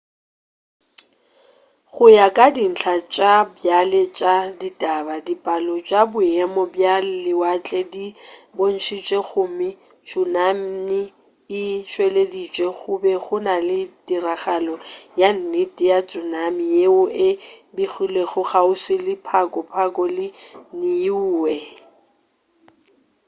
go ya ka dintla tša bjale tša ditaba dipalo tša boemo bja lewatle di bontšitše gore tsunami e tšweleditše go be go na le tiragalo ya nnete ya tsunami yeo e begilwego kgauswi le pago pago le niue